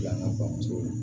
Yan ŋa bamuso